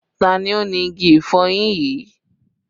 Ta ni ó ni igi ìfọyín yìí?